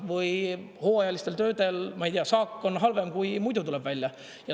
Või hooajalistel töödel, ma ei tea, saak on halvem kui muidu.